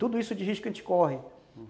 Tudo isso de risco a gente corre.